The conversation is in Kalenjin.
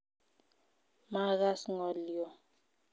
Maagas ngolyoo